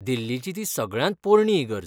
दिल्लीची ती सगळ्यांत पोरणी इगर्ज.